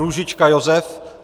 Růžička Josef